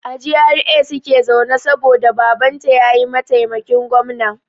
A GRA suke zaune saboda Babanta ya yi maitaimakin gwamna.